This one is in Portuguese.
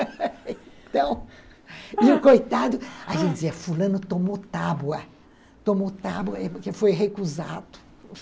Então, e o coitado, a gente dizia, fulano tomou tábua, tomou tábua porque foi recusado.